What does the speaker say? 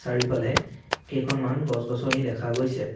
চাৰিওফালে কেইখনমান গছ-গছনি দেখা গৈছে।